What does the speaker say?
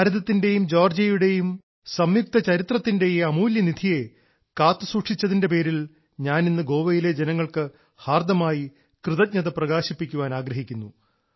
ഭാരതത്തിന്റെയും ജോർജ്ജിയയുടെയും സംയുക്ത ചരിത്രത്തിന്റെ ഈ അമൂല്യനിധിയെ കാത്തുസൂക്ഷിച്ചതിന്റെ പേരിൽ ഞാൻ ഇന്ന് ഗോവയിലെ ജനങ്ങൾക്ക് ഹാർദ്ദമായി കൃതജ്ഞത പ്രകാശിപ്പിക്കാൻ ആഗ്രഹിക്കുന്നു